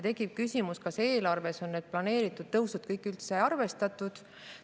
Tekib küsimus, kas eelarves on üldse kõiki planeeritud tõuse arvestatud.